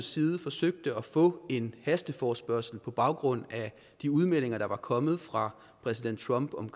siden forsøgte at få en hasteforespørgsel på baggrund af de udmeldinger der var kommet fra præsident trump om